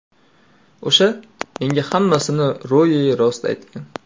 O‘sha menga hammasini ro‘yi-rost aytgan.